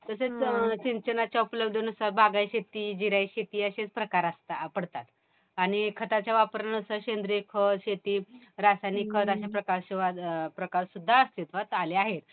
तसेच सिंचनाच्या उपलब्धीनुसार बागायती शेती, जिरायती शेती असे प्रकार असतात पडतात. आणि खताच्या वापरानुसार सेंद्रिय खत शेती, रासायनिक खत असे प्रकार सुद्धा अस्तित्वात आले आहेत.